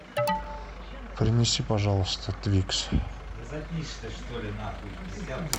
принеси пожалуйста твикс